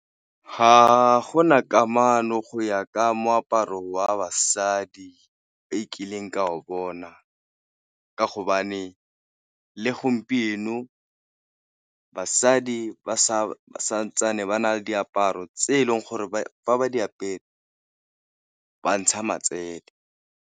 Ga gona kamano go ya ka moaparo wa basadi e kileng ka o bona, ka hobane le gompieno basadi ba sa santsane ba na le diaparo tse e leng gore fa ba di apere ba ntsha matsele.